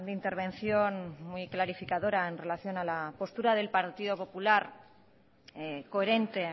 intervención muy clarificadora en relación a la postura del partido popular coherente